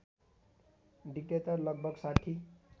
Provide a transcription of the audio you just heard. Decatur लगभग ६०